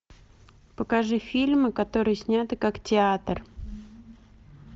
покажи фильмы которые сняты как театр